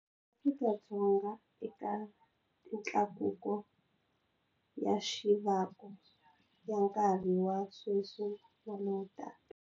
Afrika- Dzonga eka mitlakuko ya mixavo ya nkarhi wa sweswi na lowutaka.